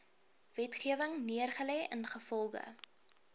wetgewing neergelê ingevolge